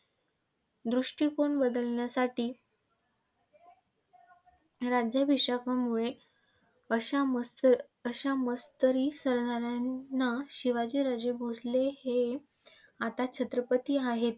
दृष्टिकोन बदलण्यासाठी राज्याभिषेकामुळे अशा मत्सअश्या मत्सरी सरदारांना शिवाजी राजे भोसले हे आता छत्रपती आहेत.